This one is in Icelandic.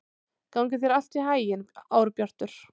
Gangi þér allt í haginn, Árbjartur.